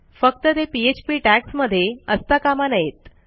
फक्त ते PHP tags मध्ये असता कामा नयेत